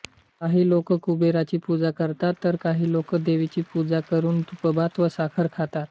काही लोक कुबेराची पूजा करतात तर काही लोक देवीची पूजा करून तूपभात व साखर खातात